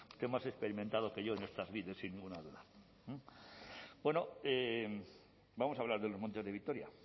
usted es más experimentado que yo en estas lides sin ninguna duda bueno vamos a hablar de los montes de vitoria